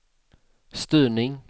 styrning